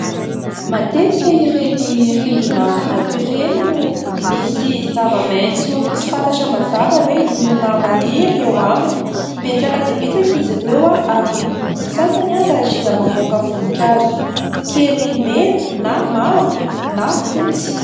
Matetika ireny rindrina vato ireny no misy zava-maitso tsy fantatra mazava hoe inona maniry eo aminy, betsaka dia betsaka izy ireo ary ny sasany aza dia mamoaka voninkazo kely mena na mavo na fotsy.